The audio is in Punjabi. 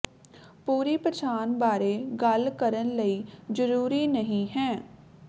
ਪੂਰੀ ਪਛਾਣ ਬਾਰੇ ਗੱਲ ਕਰਨ ਲਈ ਜ਼ਰੂਰੀ ਨਹੀ ਹੈ